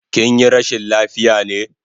Kinyi rashin lafiya ne?